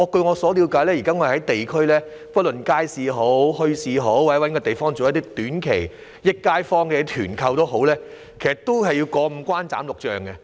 據我了解，現時若要在地區——不論地點是街市、墟市或某個地方——舉辦短期"益街坊"的團購活動，也需要過五關斬六將。